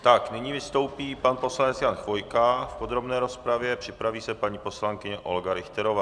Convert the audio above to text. Nyní vystoupí pan poslanec Jan Chvojka v podrobné rozpravě, připraví se paní poslankyně Olga Richterová.